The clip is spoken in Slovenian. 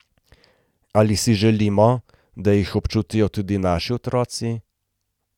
Ali si želimo, da jih občutijo tudi naši otroci?